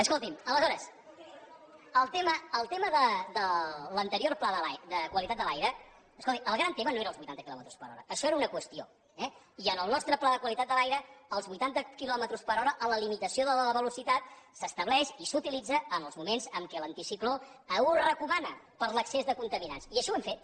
escolti’m aleshores el tema de l’anterior pla de qualitat de l’aire escolti el gran tema no eren els vuitanta quilòmetres per hora això era una qüestió eh i en el nostre pla de qualitat de l’aire els vuitanta quilòmetres per hora en la limitació de la velocitat s’estableixen i s’utilitzen en els moments en què l’anticicló ho recomana per l’excés de contaminants i així ho hem fet